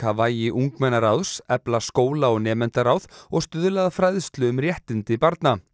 vægi ungmennaráðs efla skóla og nemendaráð og stuðla að fræðslu um réttindi barna